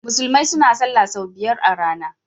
Musulmai suna salah sau biyar a rana.